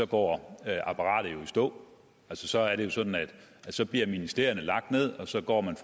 går apparatet jo i stå altså så er det sådan at ministerierne bliver lagt ned og så går man